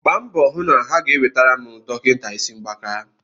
gbaa mbọ hụ na ha ga-ewetara m dọkịta isi mgbaka